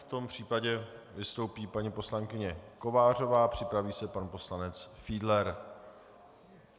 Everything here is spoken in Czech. V tom případě vystoupí paní poslankyně Kovářová, připraví se pan poslanec Fiedler.